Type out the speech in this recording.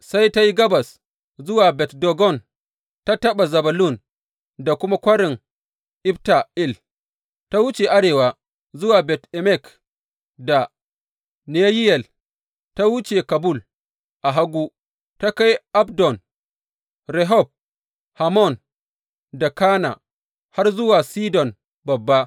Sai ta yi gabas zuwa Bet Dagon, ta taɓa Zebulun da kuma Kwarin Ifta El, ta wuce arewa zuwa Bet Emek da Neyiyel, ta wuce Kabul a hagu, ta kai Abdon, Rehob, Hammon da Kana, har zuwa Sidon Babba.